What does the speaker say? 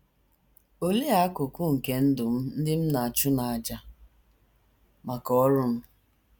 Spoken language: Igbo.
Olee akụkụ nke ndụ m ndị m na - achụ n’àjà maka ọrụ m?